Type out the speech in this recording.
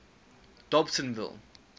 dobsenville